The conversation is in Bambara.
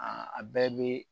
a bɛɛ bi